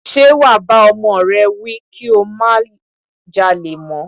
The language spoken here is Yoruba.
Ṣe wà bá ọmọ rẹ wí kí ó má jalè mọ́?